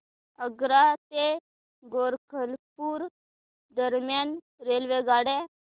आग्रा ते गोरखपुर दरम्यान रेल्वेगाड्या